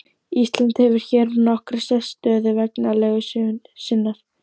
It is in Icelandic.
Ísland hefur hér nokkra sérstöðu vegna legu sinnar.